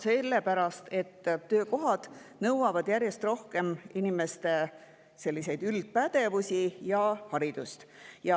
Sellepärast, et töökohad nõuavad järjest rohkem inimestelt üldpädevusi ja haridust.